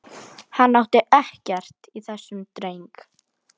Hann átti ekkert í þessum dreng.